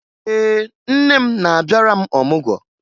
Ee, nne m na-abịara m ọmụgwọ